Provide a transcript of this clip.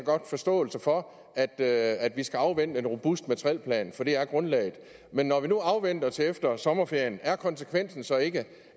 forståelse for at at vi skal afvente en robust materielplan for det er grundlaget men når vi nu venter til efter sommerferien er konsekvensen så ikke